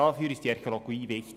Dafür ist die Archäologie da.